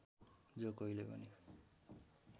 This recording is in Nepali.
जो कोहीले पनि